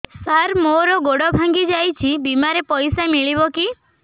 ସାର ମର ଗୋଡ ଭଙ୍ଗି ଯାଇ ଛି ବିମାରେ ପଇସା ମିଳିବ କି